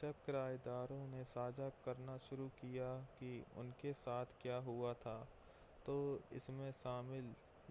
जब किरायेदारों ने साझा करना शुरू किया कि उनके साथ क्या हुआ था तो इसमें शामिल